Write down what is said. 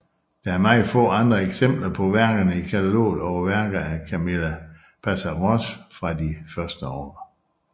Der er meget få andre eksempler på værkerne i kataloget over værker af Camille Pissarros fra de første år